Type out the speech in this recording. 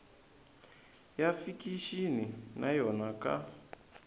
ya fikixini na yo ka